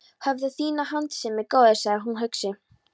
Hafðu þína hentisemi, góði, sagði hann hugsi.